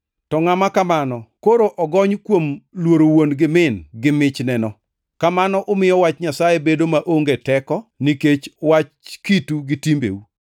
to ngʼama kamano koro ogony kuom ‘luoro wuon gi min’ gi michneno. Kamano umiyo wach Nyasaye bedo maonge teko nikech wach kitu gi timbeu.